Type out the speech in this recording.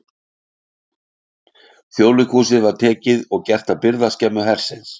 Þjóðleikhúsið var tekið og gert að birgðaskemmu hersins.